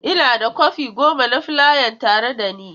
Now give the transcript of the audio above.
Ina da kwafi goma na fulayan a tare da ni.